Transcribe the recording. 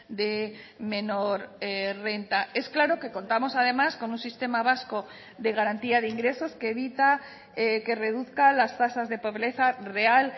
de menor renta es claro que contamos además con un sistema vasco de garantía de ingresos que evita que reduzca las tasas de pobreza real